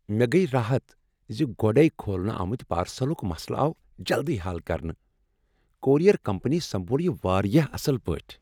مےٚ گٔیۍ راحت ز گۄڈے کھولنہٕ آمتِہ پارسلُک مسلہٕ آو جلدٕی حل کرنہٕ۔ کورئیر کمپنی سمبول یہ واریاہ اصل پٲٹھۍ۔